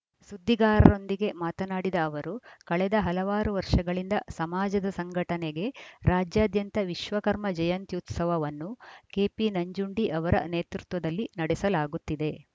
ಸುದ್ದಿಗಾರರೊಂದಿಗೆ ಮಾತನಾಡಿದ ಅವರು ಕಳೆದ ಹಲವಾರು ವರ್ಷಗಳಿಂದ ಸಮಾಜದ ಸಂಘಟನೆಗೆ ರಾಜ್ಯಾದ್ಯಂತ ವಿಶ್ವಕರ್ಮ ಜಯಂತ್ಯುತ್ಸವವನ್ನು ಕೆಪಿ ನಂಜುಂಡಿ ಅವರ ನೇತೃತ್ವದಲ್ಲಿ ನಡೆಸಲಾಗುತ್ತಿದೆ